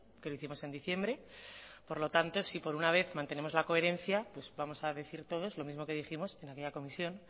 que lo hicimos en diciembre por lo tanto si por una vez mantenemos la coherencia vamos a decir todos lo mismo que dijimos en aquella comisión